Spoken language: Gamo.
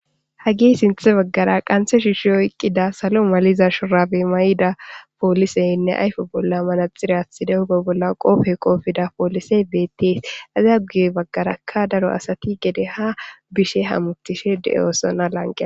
hagi sinthe baggara qanse shiushi oyqqida salo maliza shurabe may7ida pooliseynne ayfo bolla manaxirathide huba bolla qoofe qoofida poolisey beettees azaa guye baggaraka daro asati gede ha bishe hamuttishe de7oosona lanqea